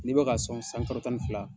N'i bɛ ka sɔn san kalo tan ni fila